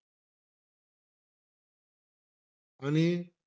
आणि,